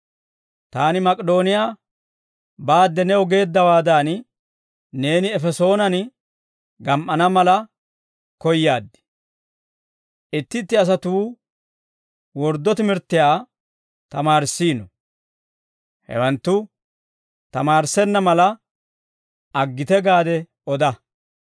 Taani Mak'idooniyaa baade new geeddawaadan, neeni Efesoonen gam"ana mala koyaad. Itti itti asatuu wordduwaa timirttiyaa tamaarissiino; hewanttu tamaarissenna mala, aggite gaade oda.